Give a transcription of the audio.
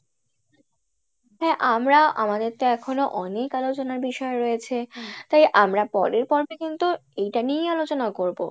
হ্যাঁ আমরা আমাদের তো এখনও অনেক আলোচনার বিষয় রয়েছে তাই আমরা পরের পর্বে কিন্তু এইটা নিয়েই আলোচনা করবো